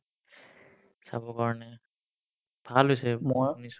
চাব কাৰণে ভাল হৈছে মই শুনিছো